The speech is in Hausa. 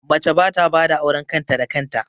Mace ba ta bada auren kan ta da kan ta